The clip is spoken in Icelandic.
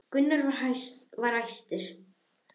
Gunnar var hastur.